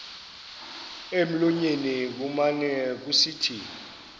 emlonyeni kumane kusithi